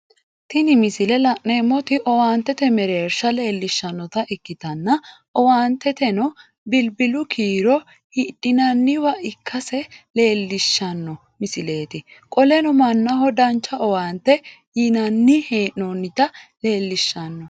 Tini misile la'neemoti owaantete meersha leelishanotta ikitanna owaanteno bilbilu kiiro hidhinnanniwa ikasi leelishano misileeti qoleno Mannnaho dancha owaante yinnanni hee'noonnita leelishano